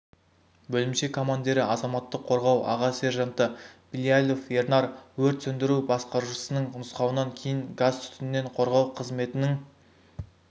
бөлімше командирі азаматтық қорғау аға сержанты билялов ернар өрт сөндіру басқарушысының нұсқауынан кейін газ түтіннен қорғау қызметінің